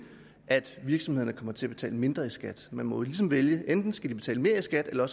at virksomhederne kommer til at betale mindre i skat man må jo ligesom vælge enten skal de betale mere i skat eller